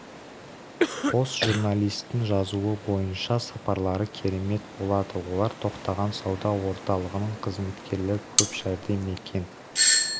қос журналистің жазуы бойынша сапарлары керемет болады олар тоқтаған сауда орталығының қызметкерлері көп жәрдем еткен